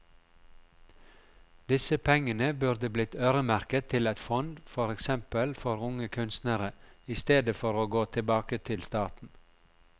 Disse pengene burde blitt øremerket til et fond, for eksempel for unge kunstnere, i stedet for å gå tilbake til staten.